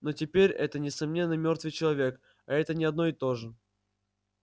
но теперь это несомненно мёртвый человек а это не одно и то же